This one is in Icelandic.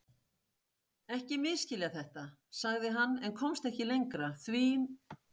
Ekki misskilja þetta, sagði hann en komst ekki lengra því